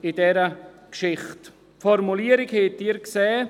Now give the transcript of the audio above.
Sie haben die Formulierung gesehen.